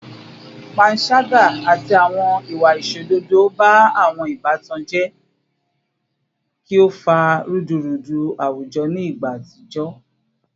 Panṣaga ati awọn iwa aiṣododo ba awọn ibatan jẹ ki o fa rudurudu awujọ ni igba atijọ